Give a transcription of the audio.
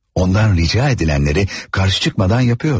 Ondan rica edilenleri karşı çıkmadan yapıyordu.